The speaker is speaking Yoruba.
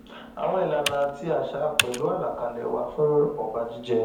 àwọn ìlànà àti àṣà pẹlú àlàkálẹ wà fún ọba jíjẹ